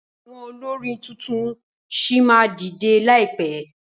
Àwọn olórin tuntun ṣì máa dìdẹ láìpẹ.